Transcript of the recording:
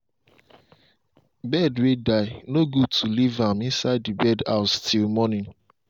bird way die no good to leave am inside the bird house till morning.